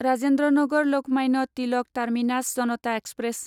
Rajendra Nagar Lokmanya Tilak terminus Janata express